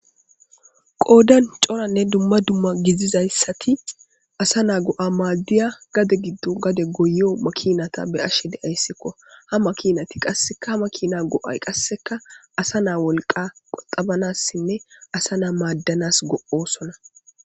Qoodan coranne dumma dumma gizizayssati asa naa go'a maadiya gade giddo gade goyiyo makinata be'ashe de'ayssekko ha makinati qasseka ha makina go'ay qasseka asa naa wolqa qoxabanassinne asa naa maadanas go'osona.